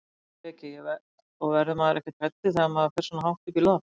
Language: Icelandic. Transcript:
Breki: Og verður maður ekkert hræddur þegar maður fer svona hátt upp í loft?